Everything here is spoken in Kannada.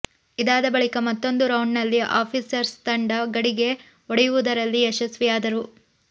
ಇದಾದ ಬಳಿಕ ಮತ್ತೊಂದು ರೌಂಡ್ ನಲ್ಲಿ ಆಫೀಸರ್ಸ್ ತಂಡ ಗಡಿಗೆ ಒಡೆಯವುದರಲ್ಲಿ ಯಶಸ್ವಿಯಾದರು